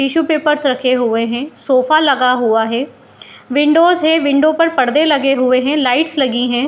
Tissue papers रखे हुए है सोफे लगा हुआ है विंडोज है विंडो पे पर्दा लगे हुए है लाइट्स लगी है ।